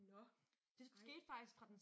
Nåh ej